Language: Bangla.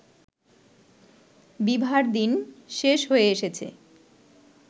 বিভার দিন শেষ হয়ে এসেছে